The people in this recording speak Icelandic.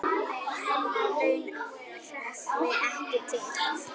Hennar laun hrökkvi ekki til.